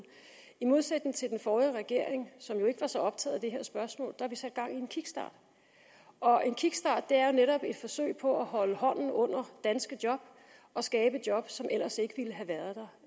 i modsætning til den forrige regering som jo ikke var så optaget af det her spørgsmål har vi sat gang i en kickstart og en kickstart er jo netop et forsøg på at holde hånden under danske job og skabe job som ellers ikke ville